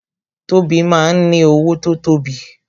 Tobi máa ń ní owó tó tóbi